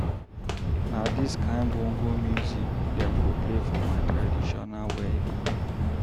Na dis kain bongo music dem go play for my traditional wedding.